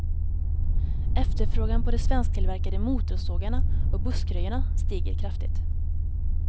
Efterfrågan på de svensktillverkade motorsågarna och buskröjarna stiger kraftigt.